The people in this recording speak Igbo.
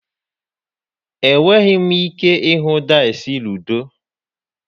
Enweghị m ike ịhụ dice ludo.